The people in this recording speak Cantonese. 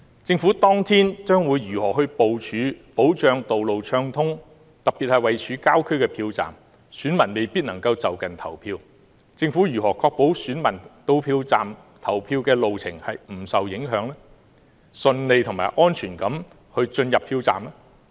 政府當天將會如何部署，保障道路暢通，特別是位處郊區的票站，選民未必能在就近投票，政府如何確保選民到票站的路程不受影響，能夠順利及安全地投票？